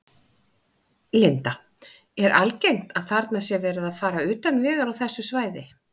Linda: Er algengt að þarna sé verið að fara utan vegar á þessu svæði?